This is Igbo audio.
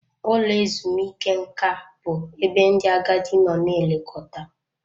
Ụlọ ezumike nka bụ ebe ndị agadi nọ na-elekọta.